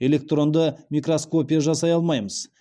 электронды микроскопия жасай алмаймыз